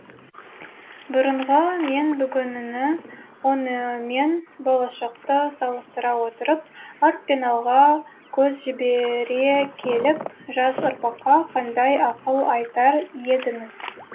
бұрынғы мен бүгінгіні онымен болашақта салыстыра отырып арт пен алға көз жібере келіп жас ұрпаққа қандай ақыл айтар едіңіз